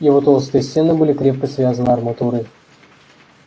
его толстые стены были крепко связаны арматурой